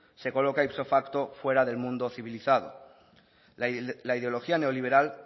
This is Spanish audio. se coloca ipso facto fuera del mundo civilizado la ideología neoliberal